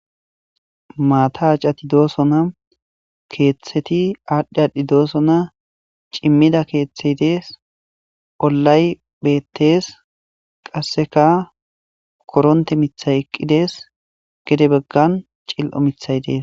Maata acati dooso na keeththeti aadhdhi aadhdhi doosona cimmida keeththet dees ollay beettees qasseka koronte mithay eqqidees gede beggan cil7o mithay dees